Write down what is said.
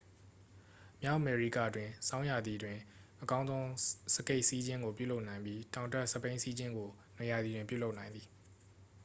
မြောက်အမေရိကတွင် ဆောင်းရာသီတွင် အကောင်းဆုံးစကီစီးခြင်းကိုပြုလုပ်နိုင်ပြီး တောင်တက်စက်ဘီးစီးခြင်းကို နွေရာသီတွင်ပြုလုပ်နိုင်သည်